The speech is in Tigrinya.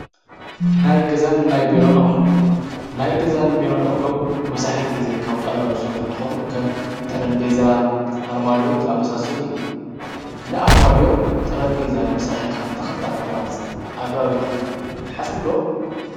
ናይ ገዛን ናይ ብሎንቕኁ ናይ ገዛን ብይተሓስብዶመሳሕት ጊዜ ኻውጣል ኣብ ሡርኅ እንተኾኑ ከም ጠረምቤዛ ኣርማድዮ ዝኣመሳሰሉ እዩ ንኣርማድዎ ጥረምሜዛ ነምስራ ሒልካ ተኽልታት ምቑራጽ ኣገባብ ኢልኹም ተሓስብዶ።